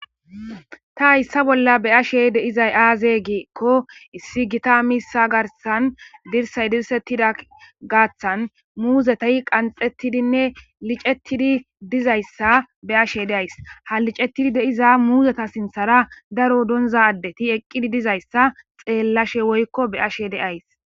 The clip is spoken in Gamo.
ta hayssa bolla be ashe deizay aaze geekko issi gita miissa garsan dirsay dirsettida gaaththan muuzetey qanxettidinne licettidi dizayssa be ashe deays ha licettidi deiza muuzeta sinthara daro donza addeti eqqidi dizayssa xeellashe woykko be ashe deays